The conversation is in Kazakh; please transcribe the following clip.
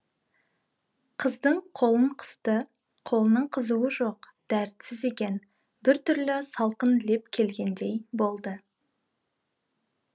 қыздың қолын қысты қолының қызуы жоқ дәртсіз екен бір түрлі салқын леп келгендей болды